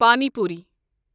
پَانی پوٗرۍ